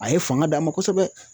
A ye fanga d'an ma kosɛbɛ